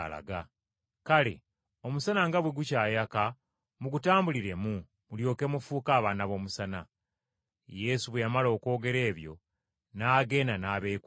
Kale Omusana nga bwe gukyayaka mugutambuliremu mulyoke mufuuke abaana b’omusana.” Yesu bwe yamala okwogera ebyo n’agenda n’abeekweka.